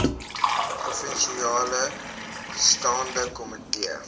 provinsiale staande komitee